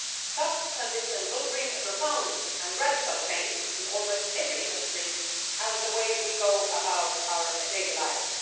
Such a transition will bring a profound and radical change in almost every industry and the way we go about our daily lives.